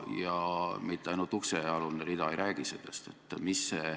Ja mitte ainult uksealune rida ei räägi sellest.